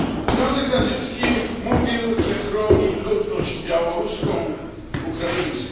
Związek Radziecki mówił, że chroni ludność białoruską, ukraińską.